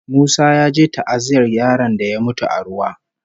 Musa ya je ta'aziyyar yaron da ya mutu a ruwa